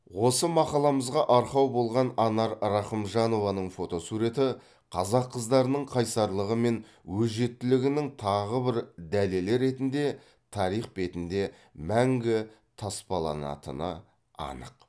осы мақаламызға арқау болған анар рахымжанованың фотосуреті қазақ қыздарының қайсарлығы мен өжеттілігінің тағы бір дәлелі ретінде тарих бетінде мәңгі таспаланатыны анық